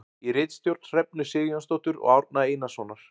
Í ritstjórn Hrefnu Sigurjónsdóttur og Árna Einarssonar.